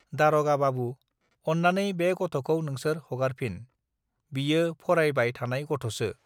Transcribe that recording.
दारगा बाबु अन्नानै बे गथखौ नोंसोर हगारफिन बियो फरायबाय थानाय गथसो